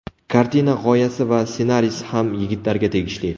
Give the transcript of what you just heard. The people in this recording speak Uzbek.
Kartina g‘oyasi va ssenariysi ham yigitlarga tegishli.